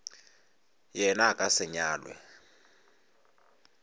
yena a ka se nyalwe